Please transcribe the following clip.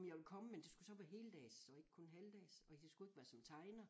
Om jeg ville komme men det skulle så være heldags og ikke kun halvdags og jeg skulle ikke være som tegner